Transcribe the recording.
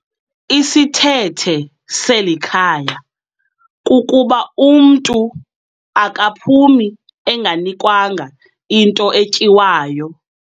Isithethe selikhaya kukuba umntu akaphumi enganikwanga nto etyiwayo.